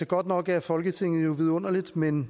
godt nok er folketinget vidunderligt men